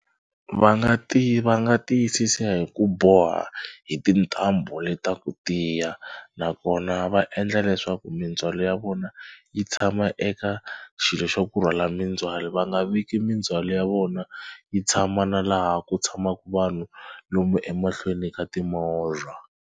Va nga va nga tiyisisa hi ku boha hi tintambu le ta ku tiya nakona va endla leswaku mindzhwalo ya vona yi tshama eka xilo xa ku rhwala mindzhwalo va nga veki mindzhwalo ya vona yi tshama na laha ku tshamaka vanhu lomu emahlweni ka timovha.